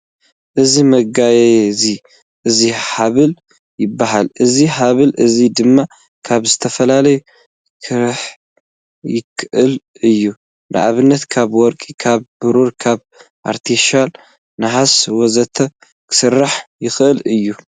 እዚ መጋየዚ እዚ ሃበል ይባሃል። እዚ ሃበል እዚ ድማ ካብ ዝተፈላለዩ ክራሕ ይክእል እዩ። ንኣብነት ካብ ወርቂ፣ ካብ ብሩር፣ ካብ ኣርተፍሻል ነሃስ ወዘተ ክስራሕ ይክእል እዩ።